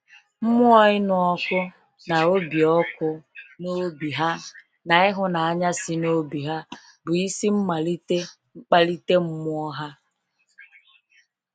Mmụọ ịnụ ọkụ n'obi ọkụ n'obi ha na ịhụnanya si n'obi ha bụ isi mmalite mkpalite mmụọ ha